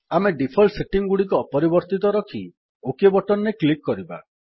ଆମେ default setting ଗୁଡିକ ଅପରିବର୍ତ୍ତିତ ରଖି ଓକ୍ ବଟନ୍ ରେ କ୍ଲିକ୍ କରିବା